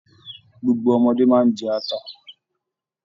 Gbogbo ọmọde máa n jẹ ata.